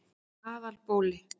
Aðalbóli